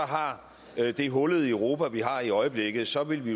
har det hullede europa vi har i øjeblikket så vil vi